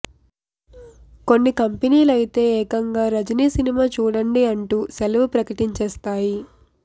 కొన్ని కంపెనీలు అయితే ఏకంగా రజినీ సినిమా చూడండి అంటూ సెలవు ప్రకటించేస్తాయి